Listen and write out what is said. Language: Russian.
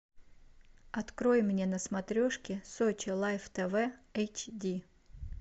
открой мне на смотрешке сочи лайф тв эйч ди